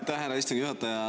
Aitäh, härra istungi juhataja!